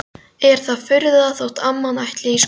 Er það furða þótt amman ætli í skóla?